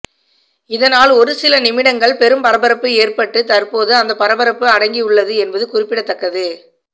இதனால் ஒரு சில நிமிடங்கள் பெரும் பரபரப்பு ஏற்பட்டு தற்போது அந்த பரபரப்பு அடங்கி உள்ளது என்பது குறிப்பிடத்தக்கது